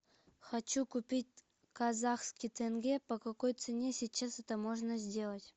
хочу купить казахский тенге по какой цене сейчас это можно сделать